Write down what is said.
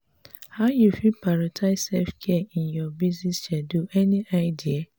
how you fit prioritize self-care in your busy schedule any idea?